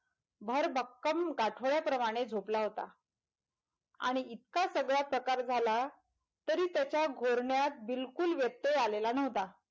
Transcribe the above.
भर भक्कम गाठोड्या प्रमाणे झोपला होता आणि इतका सगळा प्रकार झाला तरी त्याचा गोरण्यात बिलकुल व्यत्यय आलेला नव्हता,